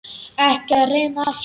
Ekki að reyna aftur.